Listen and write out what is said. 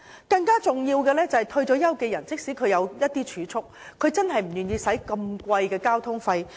更重要的是，退休人士即使有儲蓄，也不願意支付昂貴的交通費。